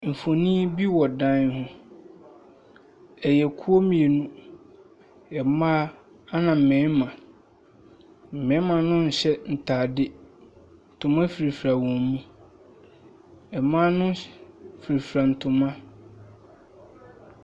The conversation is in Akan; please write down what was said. Mfonin bi wɔ dan ho. Ɛyɛ kuo mmienu. Mmaa, ɛna mmarima. Mmarimano nhyɛ ntadeɛ. Ntoma firafira wɔn mu. Mmaa no hy firafira ntoma.